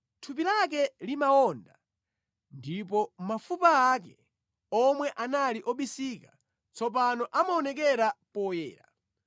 Thupi lake limawonda ndipo mafupa ake, omwe anali obisika, tsopano amaonekera poyera.